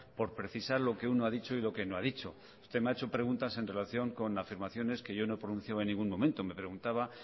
por precisar lo que uno ha dicho y lo que no ha dicho usted me ha hecho preguntas en relación con afirmaciones que yo no he pronunciado en ningún momento me preguntaba